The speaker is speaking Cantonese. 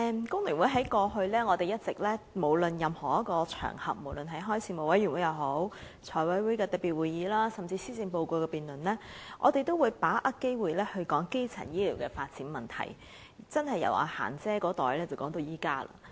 代理主席，香港工會聯合會過去在任何場合，無論是事務委員會、財務委員會特別會議，甚至是施政報告辯論等，均一直有把握機會提出發展基層醫療服務的問題，可說是由"嫻姐"那一代開始談到現在。